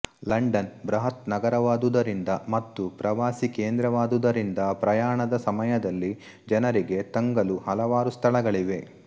London ಬೃಹತ್ ನಗರವಾದುದರಿಂದ ಮತ್ತು ಪ್ರವಾಸೀ ಕೇಂದ್ರವಾದುದರಿಂದ ಪ್ರಯಾಣದ ಸಮಯದಲ್ಲಿ ಜನರಿಗೆ ತಂಗಲು ಹಲವಾರು ಸ್ಥಳಗಳಿವೆ